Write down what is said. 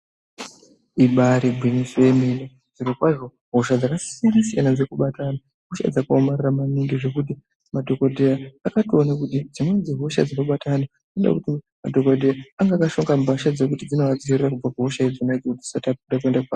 Ibari gwinyiso remene zviro kwazvo hosha dzakasiyana dziri kubata antu hosha dzakaoma maningi ngekuti madhokodheya akationa kuti dzimweni dzehosha dzinobata antu dzinoda kuti madhokoteya anenge ane akashonga mbahla dzinovadzivirira kubva kuhosha idzi.